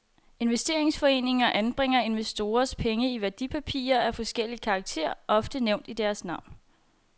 Investeringsforeningerne anbringer investorernes penge i værdipapirer af forskellig karakter, ofte nævnt i deres navn.